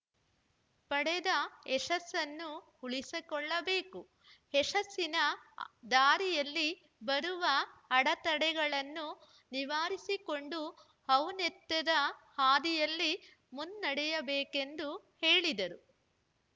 ಪಡೆದ ಯಶಸ್ಸನ್ನು ಉಳಿಸಿಕೊಳ್ಳಬೇಕು ಯಶಸ್ಸಿನ ದಾರಿಯಲ್ಲಿ ಬರುವ ಅಡೆತಡೆಗಳನ್ನು ನಿವಾರಿಸಿಕೊಂಡು ಔನ್ನತ್ಯದ ಹಾದಿಯಲ್ಲಿ ಮುನ್ನಡೆಯಬೇಕೆಂದು ಹೇಳಿದರು